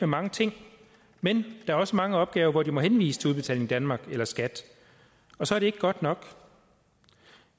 mange ting men der er også mange opgaver hvor de må henvise til udbetaling danmark eller skat og så er det ikke godt nok